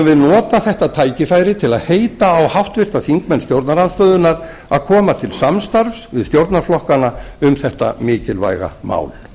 við nota þetta tækifæri til að heita á háttvirtu þingmenn stjórnarandstöðunnar að koma til samstarfs við stjórnarflokkana um þetta mikilvæga mál